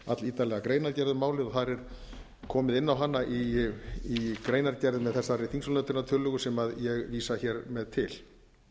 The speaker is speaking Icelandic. allítarlega greinargerð um málið og þar er komið inn á hana í greinargerð með þessari þingsályktunartillögu sem ég vísa mjög vel til